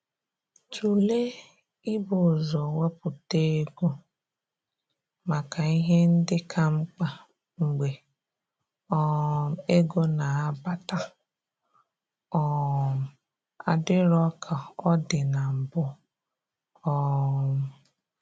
Tụlee i bu ụzọ wepụta ego maka ihe ndị ka mkpa mgbe um ego na-abata um adịro ka ọ dị na mbụ um